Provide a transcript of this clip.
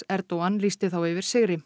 Erdogan lýsti þá yfir sigri